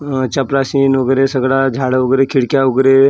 अ चपराशीन वगेरे सगड झाडं वगेरे खिडक्या वगेरे--